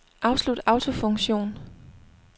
Afslut autofunktion.